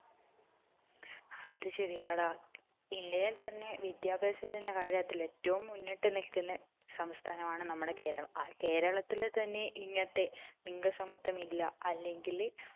അത് ശരിയാടാ ഇല്ലങ്കിൽ തന്നെ വിദ്യഭ്യാസത്തിന്റെ കാര്യത്തിൽ ഏറ്റവും മുന്നിട്ട് നിൽക്കുന്ന സംസ്ഥാനമാണ് നമ്മുടെ കേരളം ആ കേരളത്തിൽ തന്നെ ഇങ്ങനത്തെ ലിംഗസമത്വമില്ല അല്ലങ്കില്